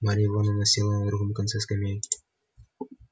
марья ивановна села на другом конце скамейки